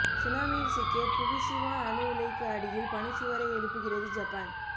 சுனாமியில் சிக்கிய புகுஷிமா அணு உலைக்கு அடியில் பனிச்சுவரை எழுப்புகிறது ஜப்பான்